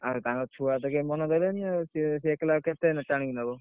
ତାଙ୍କ ଛୁଆତ କେହି ମନ ଦେଲେନି ଆଉ ସେ ସେ ଆଉ ଏକଲା ଆଉ କେତେ ଟାଣିକି ନବ?